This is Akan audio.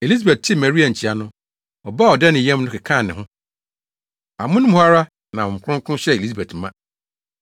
Elisabet tee Maria nkyia no, ɔba a ɔda ne yam no kekaa ne ho; amono mu hɔ ara na Honhom Kronkron hyɛɛ Elisabet ma.